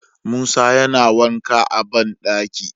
Musa yana wanka a banɗaki